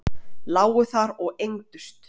Lágu þar og engdust.